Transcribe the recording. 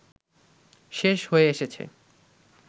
শেষ হয়ে এসেছে